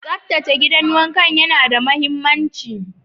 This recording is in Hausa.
Tsaftace gidan wanka yana da mahimmanci.